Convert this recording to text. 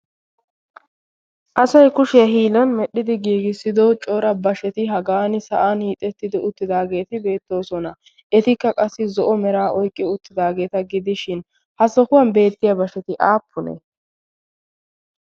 asoy kushiyaa hiilan medhdhidi giigissido coora basheti hagaan sa'an hiixettidi uttidaageeti beettoosona. etikka qassi zo'o meraa oiqqi uttidaageeta gidishin ha sohuwan beettiya bashsheti aappune?